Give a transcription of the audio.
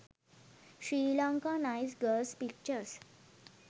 sri lankan nice girls pictures